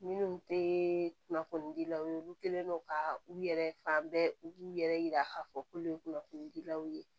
Minnu tɛ kunnafoni dilaw ye olu kɛlen don ka u yɛrɛ fan bɛɛ u b'u yɛrɛ yira k'a fɔ k'ulu ye kunnafoni dilaw ye